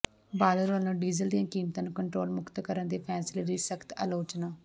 ਬਾਦਲ ਵਲੋਂ ਡੀਜ਼ਲ ਦੀਆਂ ਕੀਮਤਾਂ ਨੂੰ ਕੰਟਰੋਲ ਮੁਕਤ ਕਰਨ ਦੇ ਫ਼ੈਸਲੇ ਦੀ ਸਖਤ ਆਲੋਚਨਾ